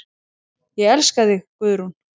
Ég elska þig, Guðrún.